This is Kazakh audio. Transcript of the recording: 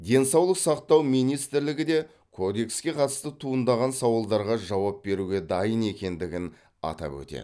денсаулық сақтау министрлігі де кодекске қатысты туындаған сауалдарға жауап беруге дайын екендігін атап өтеді